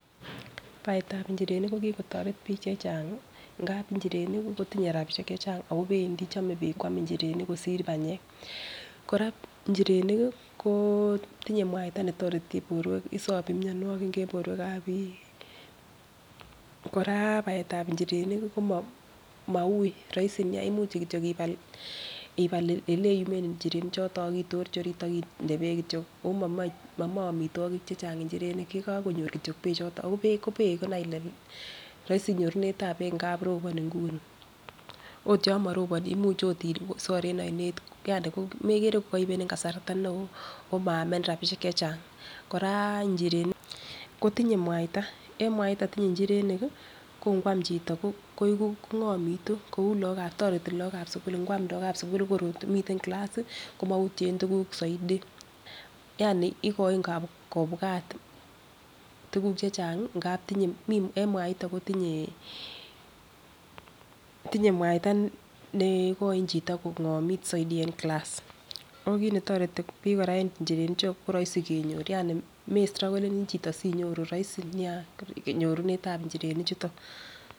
Baetab inchirenik ko kikotoret bik chechang ngapi inchirenik kii kotinye rabishek chechang ako pendii chome bik kwam inchirenik kosir panyek. Koraa ichirenik kii kotinye muaita netoreti borwek isobi mionwokik en borwekab bik. Koraa baetab inchirenik ko Maui roisi nia imuch kityok ibal ibal oleyumen inchirenik choton ak itorchi orit ak inde beek kityok omomoi chechang inchirenik yekokonyor kityok beek choton ako beek ko beek nai ile roisi nyorunetab beek ngapi roponi Nguni. Ot yon moroboni imuch okot isor en oinet yani ko mekere ko koibeni kasarta neo omaamenin rabishek chechang. Koraa inchirenik kotinye muaita en maiton tinye inchirenik kii ko ngwan chito kongomitu kou lokab toreti lokab sukul ngwam lokab sukul ko kor komiten kilasi komoutyen tukuk soiti, yani ikoini kobwat tukuk chechangi ngapi tinye mii en muaito kotinyee tinye muaita ne ikoin chito kongomitu soiti en class .okot netoreti bik Koraa. En inchirenik chuu ko roisi kenyor yani mestrokolenii chito sinyoru roisi nia nyorunetab nchirenik chuton.